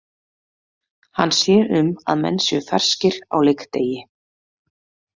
Hann sér um að menn séu ferskir á leikdegi.